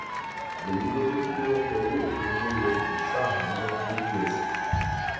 èyí ló mú kí wọn fọwọ òfin mú wọn jù ṣahámọ lójúẹsẹ